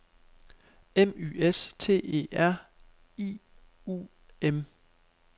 M Y S T E R I U M